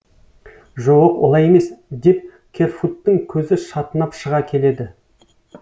жо оқ олай емес деп керфуттың көзі шатынап шыға келеді